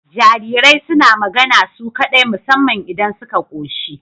Jarirai suna magana su kaɗai musamman idan suka koshi